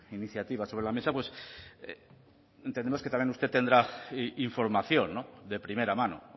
iniciativas sobre la mesa pues entendemos que también usted tendrá información de primera mano